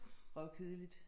Røvkedeligt